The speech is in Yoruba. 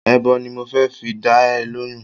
Èèbó ni mo fẹ́ fi dá ẹ lóhùn-ún